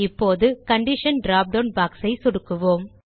இப்போது condition drop down box ஐ சொடுக்குக